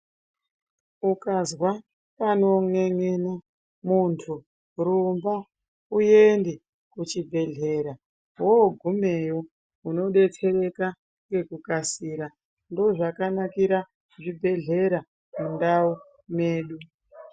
Ukazwa panon'en'ena munthu rumba uyende kuchibhedhlera wogumeyo unodetsereka ngekukasira ndozvakanakira zvibhedhlera mundau mwedu.